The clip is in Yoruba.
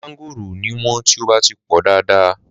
Mángòrò ò ní wọ́n tí ó bá ti pọ̀ dáadáa.